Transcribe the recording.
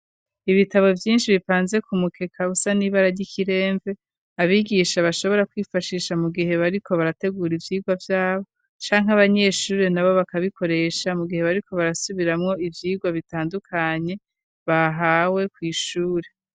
Ibitabo vyinshi bipanze ku mukeka usa n'ibara ry'ikiremve, abigisha bashobora kwifashisha mu gihe bariko barategura ivyigwa vyabo canke abanyeshure nabo bakabikoresha mu gihe bariko barasubiramwo ivyigwa bitandukanye bahawe kw'ishure.